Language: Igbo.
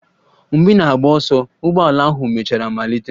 Mgbe ị na-agba ọsọ, ụgbọala ahụ mechara malite.